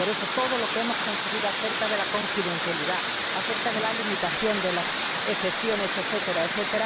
Por eso, todo lo que hemos conseguido acerca de la confidencialidad, acerca de la limitación, de las excepciones, etc.